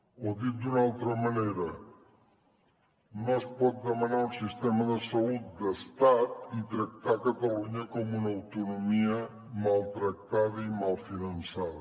o dit d’una altra manera no es pot demanar un sistema de salut d’estat i tractar catalunya com una autonomia maltractada i mal finançada